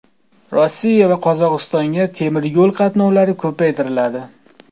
Rossiya va Qozog‘istonga temiryo‘l qatnovlari ko‘paytiriladi .